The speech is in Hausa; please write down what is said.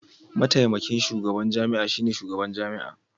Mataimakin shugaban jami'a shine shugaban jami'a.